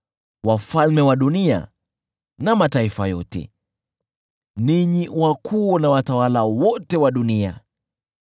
wafalme wa dunia na mataifa yote, ninyi wakuu na watawala wote wa dunia,